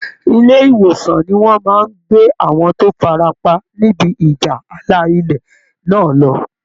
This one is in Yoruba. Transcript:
Ilé ìwòsàn ni wọ́n máa gbé àwọn tó farapa nibi ìjà ààlà ilẹ̀ náà lọ